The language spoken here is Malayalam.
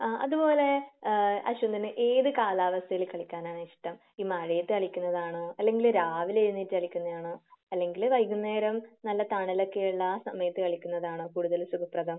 ആഹ് അത് പോലെ ഏഹ് അശ്വിനിന് ഏത് കാലാവസ്ഥയിൽ കളിക്കാനാണ് ഇഷ്ടം? ഈ മഴയത്ത് കളിക്കുന്നതാണോ? അല്ലെങ്കിൽ രാവിലെ എഴുനേറ്റ് കളിക്കുന്നതാണോ? അല്ലെങ്കിൽ വൈകുന്നേരം നല്ല തണലൊക്കെ ഉള്ള സമയത്ത് കളിക്കുന്നതാണോ കൂടുതൽ സുഖപ്രദം?